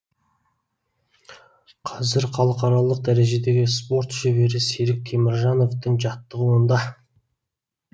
қазір халықаралық дәрежедегі спорт шебері серік теміржановтың жаттығуында